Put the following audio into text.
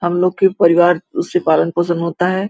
हमलोग का परिवार से पालन- पोषण होता हैं।